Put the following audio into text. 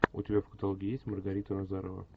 у тебя в каталоге есть маргарита назарова